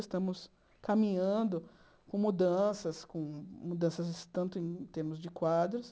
Estamos caminhando com mudanças, com mudanças tanto em termos de quadros.